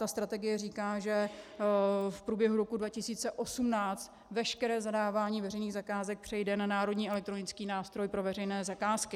Ta strategie říká, že v průběhu roku 2018 veškeré zadávání veřejných zakázek přejde na Národní elektronický nástroj pro veřejné zakázky.